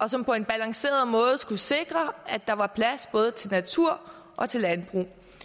og som på en balanceret måde skulle sikre at der var plads både til natur og til landbrug i